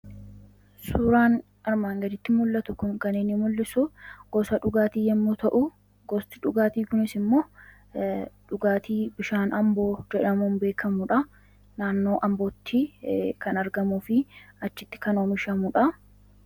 Suuraan armaan gadiitti mul'atu kun kan inni mul'isu gosa dhugaatii yommuu ta'u, gosti dhugaatii kunis immoo dhugaatii bishaan amboo jedhamuun beekamudha. Naannoo ambootti kan argamuu fi achitti kan oomishamudha.